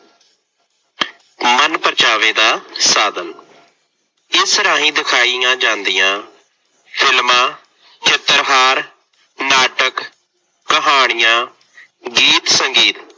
ਮਨਪਰਚਾਵੇ ਦਾ ਸਾਧਨ- ਇਸ ਰਾਹੀ ਦਿਖਾਈਆਂ ਜਾਂਦੀਆਂ ਫਿਲਮਾਂ, ਚਿੱਤਰਹਾਰ, ਨਾਟਕ, ਕਹਾਣੀਆਂ, ਗੀਤ-ਸੰਗੀਤ